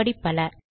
இப்படி பல